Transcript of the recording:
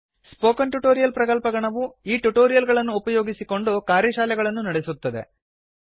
spoken tutorial ಪ್ರಕಲ್ಪಗಣವು ಈ tutorial ಗಳನ್ನು ಉಪಯೋಗಿಸಿಕೊಂಡು ಕಾರ್ಯಶಾಲೆಗಳನ್ನು ನಡೆಸುತ್ತದೆ